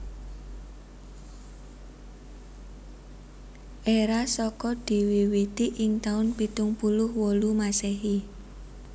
Era Saka diwiwiti ing taun pitung puluh wolu Masehi